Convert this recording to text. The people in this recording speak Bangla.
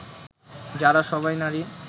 যারা সবাই নারী